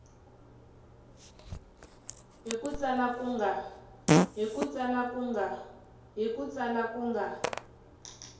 hi ku tsala ku nga